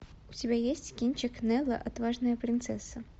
у тебя есть кинчик нелла отважная принцесса